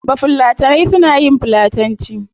Bafulatanai suna yin fulatanci